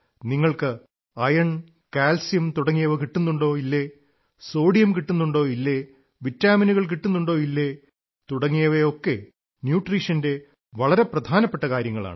നിങ്ങൾക്ക് iron calcium കിട്ടുന്നുണ്ടോ ഇല്ലേ സോഡിയം കിട്ടുന്നുണ്ടോ ഇല്ലേ വിറ്റാമിനുകൾ കിട്ടുന്നുണ്ടോ ഇല്ലേ തുടങ്ങിയവയൊക്കെ ന്യൂട്രീഷന്റെ വളരെ പ്രധാനപ്പെട്ട കാര്യങ്ങളാണ്